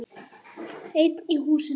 Einn í húsinu.